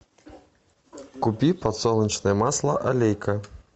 купи подсолнечное масло олейка